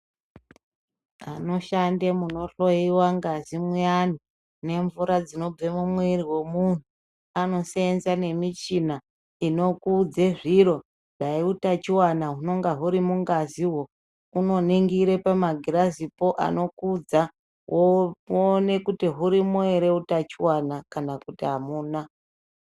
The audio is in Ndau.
Anoshande munohlowiwa ngazi muyani nemvura dzinobve mumwiri womunhu, anosenza nemichina inokudze zviro, dai utachiwana hunonga huri mungaziho unoningire pamagirazipo anokudza owone kuti hurimwo ere utachiwana kana kuti amuna.